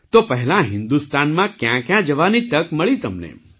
તો પહેલાં હિન્દુસ્તાનમાં ક્યાંક્યાં જવાની તક મળી તમને